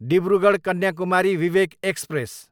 Dibrugarh, Kanyakumari Vivek express